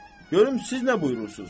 Görüm siz nə buyurursuz?